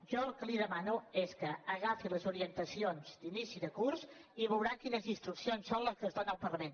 jo el que li demano és que agafi les orientacions d’inici de curs i veurà quines instruccions són les que es dóna al parlament